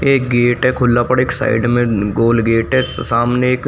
एक गेट है खुला पड़ एक साइड में गोल गेट है सामने एक --